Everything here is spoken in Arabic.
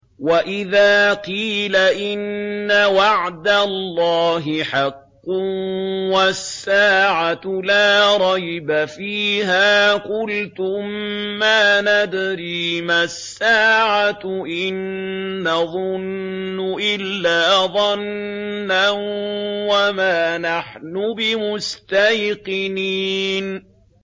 وَإِذَا قِيلَ إِنَّ وَعْدَ اللَّهِ حَقٌّ وَالسَّاعَةُ لَا رَيْبَ فِيهَا قُلْتُم مَّا نَدْرِي مَا السَّاعَةُ إِن نَّظُنُّ إِلَّا ظَنًّا وَمَا نَحْنُ بِمُسْتَيْقِنِينَ